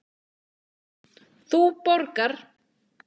Þú borgar.